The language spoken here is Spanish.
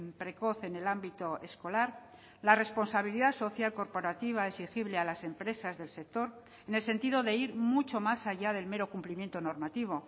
precoz en el ámbito escolar la responsabilidad social corporativa exigible a las empresas del sector en el sentido de ir mucho más allá del mero cumplimiento normativo